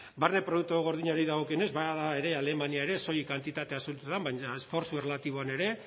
barne produktu gordinari dagokionez bada ere alemania soilik kantitate asuntoetan baina esfortzu erlatiboan ere